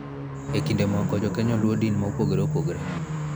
E kinde moko, Jo-Kenya luwo din ma opogore opogore,